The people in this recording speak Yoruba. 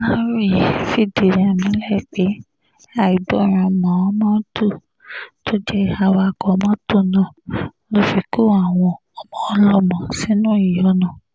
aláròye fìdí rẹ̀ múlẹ̀ pé àìgbọràn mómódù tó jẹ́ awakọ̀ mọ́tò náà ló fi kó àwọn ọmọ ọlọ́mọ sínú ìyọnu